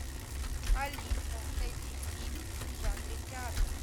алиса найди фильм в жанре театр